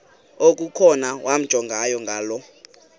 okukhona wamjongay ngaloo